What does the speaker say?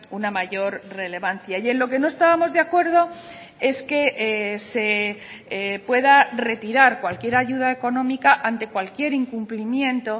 una mayor relevancia y en lo que no estábamos de acuerdo es que se pueda retirar cualquier ayuda económica ante cualquier incumplimiento